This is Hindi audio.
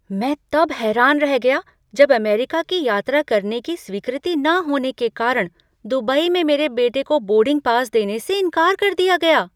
मैं तब हैरान रह गया जब अमेरिका की यात्रा करने की स्वीकृति न होने के कारण दुबई में मेरे बेटे को बोर्डिंग पास देने से इनकार कर दिया गया।